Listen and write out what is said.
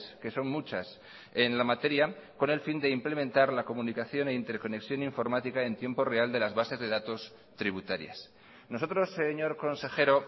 que son muchas en la materia con el fin de implementar la comunicación e interconexión informática en tiempo real de las bases de datos tributarias nosotros señor consejero